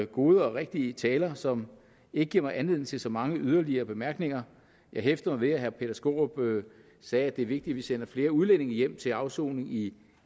gode og rigtige taler som ikke giver mig anledning til så mange yderligere bemærkninger jeg hæftede mig ved at herre peter skaarup sagde at det er vigtigt at vi sender flere udlændinge hjem til afsoning i